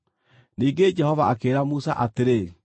Ningĩ Jehova akĩĩra Musa atĩrĩ,